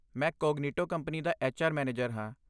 ਮੈਂ Cognito company ਦਾ HR manager ਹਾਂ।